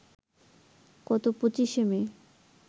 গত ২৫ শে মে